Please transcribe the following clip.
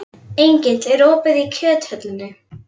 Engill, er opið í Kjöthöllinni?